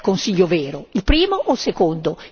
Qual è il Consiglio vero, il primo o il secondo?